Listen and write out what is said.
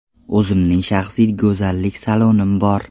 O‘zimning shaxsiy go‘zallik salonim bor.